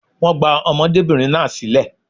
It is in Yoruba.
Wọ́n gba ọmọdébìnrin náà sílẹ̀